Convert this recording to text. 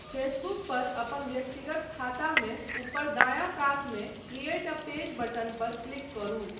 Facebook पर अपन व्यक्तिगत खातामे ऊपर दायाँ कातमे क्रिएट अ पेज बटन पर क्लिक करू।